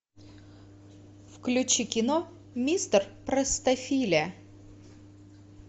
включи кино мистер простофиля